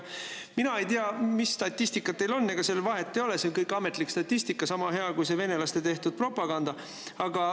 Mina ei tea, mis statistika teil on, aga ega sel ju vahet ei ole, see on kõik ametlik statistika – sama hea, kui venelaste tehtud propaganda.